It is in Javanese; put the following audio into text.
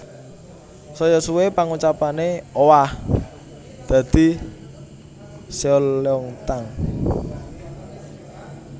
Saya suwe pangucapane owah dadi seolleongtang